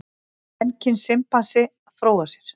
Kvenkyns simpansi að fróa sér.